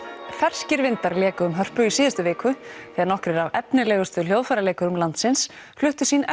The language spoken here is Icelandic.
ferskir vindar léku um Hörpu í síðustu viku þegar nokkrir af efnilegustu hljóðfæraleikurum landsins fluttu sín